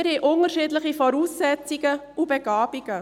Wir haben unterschiedliche Voraussetzungen und Begabungen.